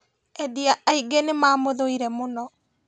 Endia aingĩ nĩmamũthũire mũno